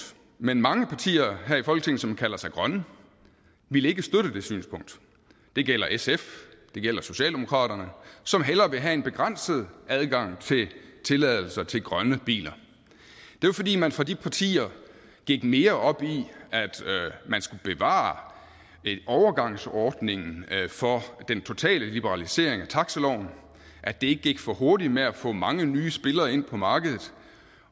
men mange partier her i folketinget som kalder sig grønne ville ikke støtte det synspunkt det gjaldt sf og det gjaldt socialdemokraterne som hellere ville have en begrænset adgang til tilladelser til grønne biler det var fordi man fra de partier gik mere op i at man skulle bevare en overgangsordning for den totale liberalisering af taxaloven at det ikke gik for hurtigt med at få mange nye spillere ind på markedet